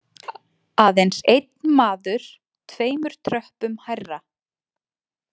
Aðeins einn maður tveimur tröppum hærra.